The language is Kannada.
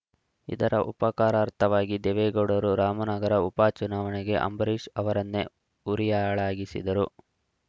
ಇದರ ಉಪಕಾರಾರ್ಥವಾಗಿ ದೇವೇಗೌಡರು ರಾಮನಗರ ಉಪಚುನಾವಣೆಗೆ ಅಂಬರೀಷ್‌ ಅವರನ್ನೇ ಹುರಿಯಾಳಾಗಿಸಿದರು